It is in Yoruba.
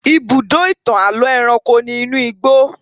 Ibùdó ìtàn àlọ́ ẹranko ni inú igbó.